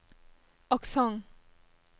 aksent